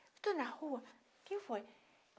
Eu estou na rua. Quem foi ?